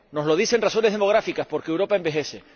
Nos lo dicen razones demográficas, porque Europa envejece.